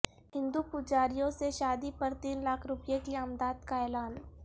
ہندو پجاریوں سے شادی پر تین لاکھ روپے کی امداد کا اعلان